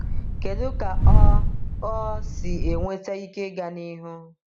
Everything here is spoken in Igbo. Kedu ka ọ ọ si enweta ike ịga n’ihu?